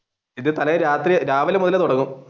ഇത് തലേന്ന് രാവിലെ മുതൽ തുടങ്ങും.